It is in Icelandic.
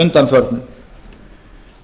undanförnu